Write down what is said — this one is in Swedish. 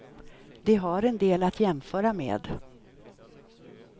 De har en del att jämföra med.